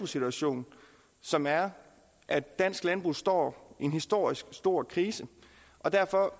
situation som er at dansk landbrug står i en historisk stor krise og derfor